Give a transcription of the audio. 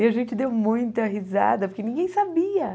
E a gente deu muita risada, porque ninguém sabia.